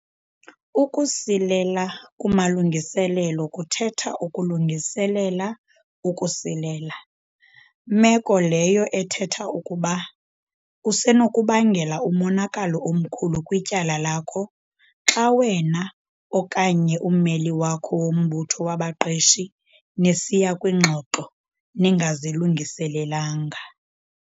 "Ukusilela kumalungiselelo kuthetha ukulungiselela ukusilela", meko leyo ethetha ukuba usenokubangela umonakalo omkhulu kwityala lakho xa wena okanye ummeli wakho wombutho wabaqeshi nisiya kwiingxoxo ningazilungiselelanga.